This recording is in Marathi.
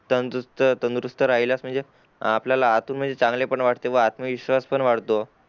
तंदुरुस्त तंदुरुस्त राहिल्यास म्हणजे अ आपल्याला आतून म्हणजे चांगले पण वाटते आणि आत्मा विश्वास पण वाढतो